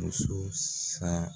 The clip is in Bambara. Muso saya